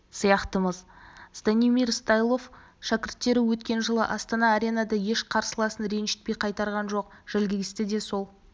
сияқтымыз станимир стойлов шәкірттері өткен жылы астана-аренада еш қарсыласын ренжітпей қайтарған жоқ жальгиристі де сол